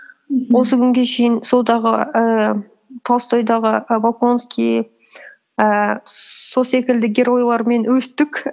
осы күнге шейін ііі толстойдағы і волконский ііі сол секілді геройлармен өстік